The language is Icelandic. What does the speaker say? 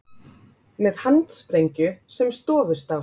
Með handsprengju sem stofustáss